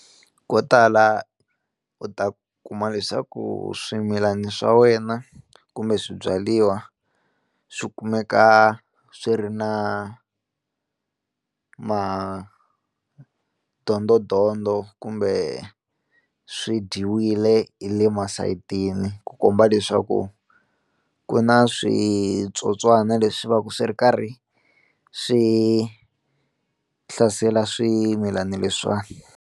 Ko tala u ta kuma leswaku swimilani swa wena kumbe swibyariwa swi kumeka swi ri na madondodondo kumbe swi dyiwile hi le masayitini ku komba leswaku ku na switsotswana leswi va swi ri karhi swi hlasela swimilana leswiwani.